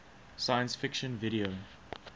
science fiction video